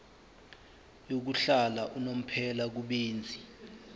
yokuhlala unomphela kubenzi